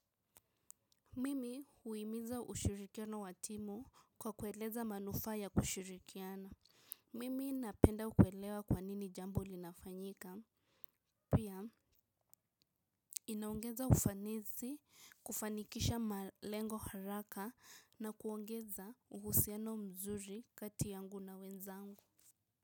Mimi huimiza ushirikiano watimu kwa kueleza manufaa ya kushirikiana. Mimi napenda kuelewa kwanini jambo linafanyika. Pia, inaongeza ufanisi kufanikisha malengo haraka na kuongeza uhusiano mzuri kati yangu na wenzangu.